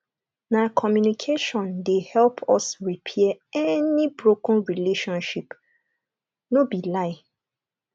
na communication dey help us repair any broken relationship no be lie